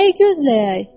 Nəyi gözləyək?